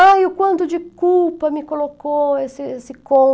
Ai, o quanto de culpa me colocou esse esse